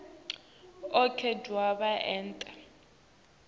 onkhe kodvwa ente